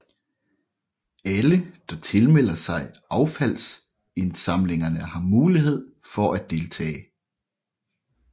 Alle der tilmelder sig affaldsindsamlingerne har mulighed for at deltage